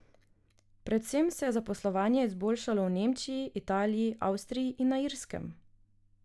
Predvsem se je zaposlovanje izboljšalo v Nemčiji, Italiji, Avstriji in na Irskem.